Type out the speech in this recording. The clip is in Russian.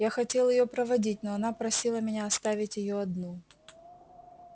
я хотел её проводить но она просила меня оставить её одну